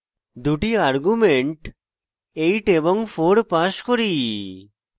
দুটি arguments 8 এবং 4 pass করি